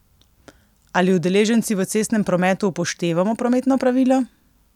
Ali udeleženci v cestnem prometu upoštevamo prometna pravila?